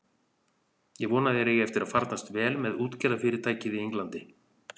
Ég vona að þér eigi eftir að farnast vel með útgerðarfyrirtækið í Englandi.